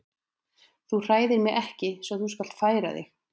Þú hræðir mig ekki svo þú skalt færa þig.